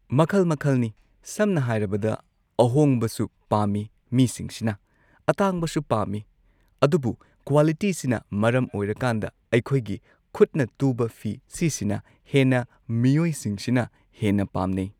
ꯃꯈꯜ ꯃꯈꯜꯅꯤ ꯁꯝꯅ ꯍꯥꯏꯔꯕꯗ ꯑꯍꯣꯡꯕꯁꯨ ꯄꯥꯝꯃꯤ ꯃꯤꯁꯤꯡꯁꯤꯅ ꯑꯇꯥꯡꯕꯁꯨ ꯄꯥꯝꯃꯤ ꯑꯗꯨꯕꯨ ꯀ꯭ꯋꯥꯂꯤꯇꯤꯁꯤꯅ ꯃꯔꯝ ꯑꯣꯏꯔꯀꯥꯟꯗ ꯑꯩꯈꯣꯏꯒꯤ ꯈꯨꯠꯅ ꯇꯨꯕ ꯐꯤ ꯁꯤꯁꯤꯅ ꯍꯦꯟꯅ ꯃꯤꯑꯣꯏꯁꯤꯡꯁꯤꯅ ꯍꯦꯟꯅ ꯄꯥꯝꯅꯩ꯫